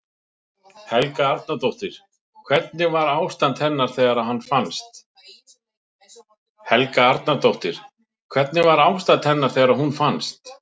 Helga Arnardóttir: Hvernig var ástand hennar þegar hún fannst?